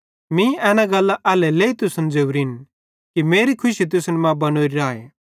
मीं एना गल्लां एल्हेरेलेइ तुसन ज़ोरिन कि मेरी खुशी तुसन मां बनोरी राए